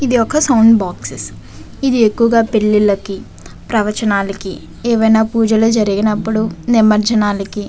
ఏది వల sound box ఏది అకువ గ పెళ్లి లకి ఉస్ చేస్తారు. ప్రవచనాలు అండ్ గోదిలో అకువ గ మనకు అకువ సౌండ్ బాక్స్ ఉస్ చేస్తారు.